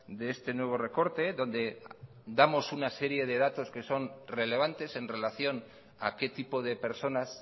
de este nuevo recorte donde damos una serie de datos que son relevantes en relación a qué tipo de personas